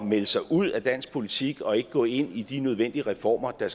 melde sig ud af dansk politik og ikke gå ind i de nødvendige reformer der